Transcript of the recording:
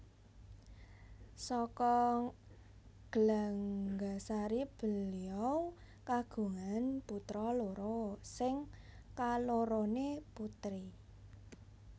Saka Glanggasari beliau kagungan putra loro sing kaloroné putri